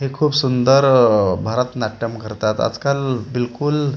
हे खूप सुंदर आह भरतनाट्यम करतात आजकाल बिलकुल--